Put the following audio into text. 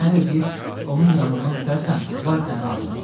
Mənə də deyir: onun yanından ötərsən, vay sənin alnına.